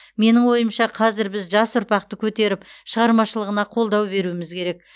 менің ойымша қазір біз жас ұрпақты көтеріп шығармашылығына қолдау беруіміз керек